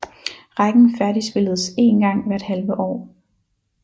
Rækken færdigspilledes én gang hvert halve år